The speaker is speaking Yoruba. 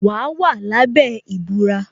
Wa wà lábẹ́ ìbúra